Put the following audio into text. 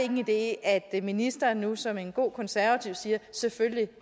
en idé at ministeren nu som en god konservativ sagde selvfølgelig